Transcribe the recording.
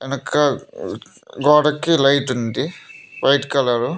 వెనుక గోడకి లైట్ ఉంది వైట్ కలర్ .